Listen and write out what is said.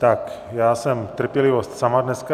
Tak, já jsem trpělivost sama dneska.